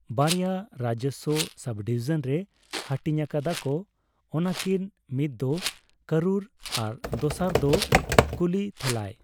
ᱵᱟᱨᱭᱟ ᱨᱟᱡᱚᱥᱭᱚ ᱥᱚᱵᱽᱼᱰᱤᱵᱷᱤᱡᱚᱱ ᱨᱮ ᱦᱟᱹᱴᱤᱧ ᱟᱠᱟᱫᱟᱠᱚ ᱚᱱᱟᱠᱤᱱ ᱢᱤᱫᱫᱚ ᱠᱚᱨᱩᱨ ᱟᱨ ᱫᱚᱥᱟᱨᱟᱜ ᱫᱚ ᱠᱩᱞᱤᱛᱷᱟᱞᱟᱭ